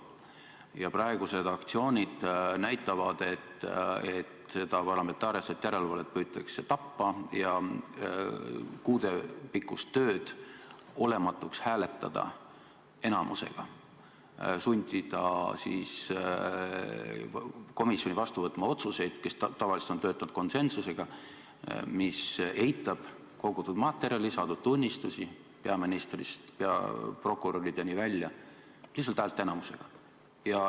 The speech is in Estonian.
Praegused aktsioonid näitavad, et parlamentaarset järelevalvet püütakse tappa ja kuudepikkust tööd olematuks hääletada enamuse abil, sundida komisjoni, kes tavaliselt on töötanud konsensuslikult, vastu võtma otsuseid, mis eitavad kogutud materjali, saadud tunnistusi peaministrist prokurörideni välja, lihtsalt häälteenamusega.